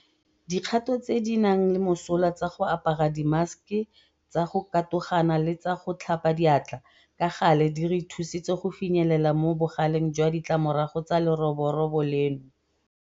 Dikgato tse di nang le mosola tsa go apara dimaseke, tsa go katogana le tsa go tlhapa diatla ka gale di re thusitse go finyelela mo bogaleng jwa ditlamorago tsa leroborobo leno.